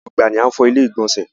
gbọ gbó ìgbà ní an fọ ilé-ìgbọ̀nsẹ̀